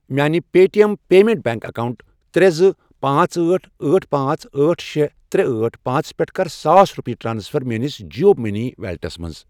میانہِ Paytm payments bank account ترے، زٕ، پانژھ، أٹھ، أٹھ، پانژھ، أٹھ، شے، ترے، أٹھ، پانژھ، پٮ۪ٹھٕ کر ساس رۄپیہِ ٹرانسفر میٲنِس جِیو مٔنی ویلیٹَس مَنٛز۔